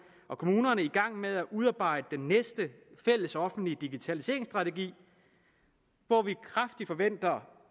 og kommunerne i gang med at udarbejde den næste fælles offentlige digitaliseringsstrategi hvor vi kraftigt forventer